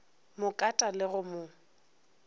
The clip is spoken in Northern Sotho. mo kata le go mo